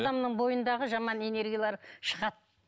бойындағы жаман энергиялар шығады